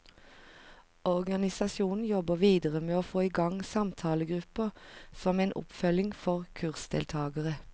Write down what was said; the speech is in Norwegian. Organisasjonen jobber videre med å få i gang samtalegrupper som en oppfølging for kursdeltagere.